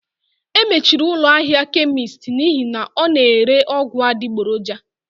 E mechiri ụlọ ahịa kemist n'ihi na ọ na-ere ọgwụ adịgboroja